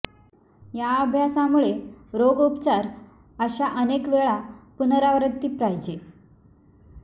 या अभ्यासामुळे रोग उपचार अशा अनेक वेळा पुनरावृत्ती पाहिजे